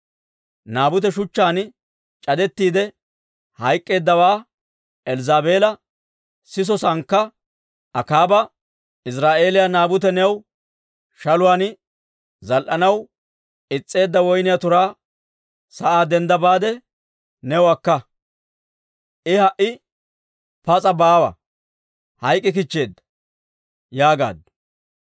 Naabute shuchchaan c'adettiide hayk'k'eeddawaa Elzzaabeela siso saannakka, Akaaba, «Iziraa'eeliyaa Naabute new shaluwaan zaal"anaw is's'eedda woyniyaa turaa sa'aa dendda baade, new akka. I ha"i pas'a baawa; hayk'k'ikichcheedda» yaagaaddu.